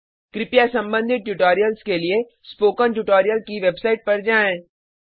कृपया संबंधित ट्यूटोरियल्स के लिए स्पोकन ट्यूटोरियल की वेबसाइट पर जाएँ